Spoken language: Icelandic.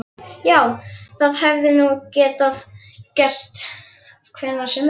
Já, það hefði nú getað gerst hvenær sem er.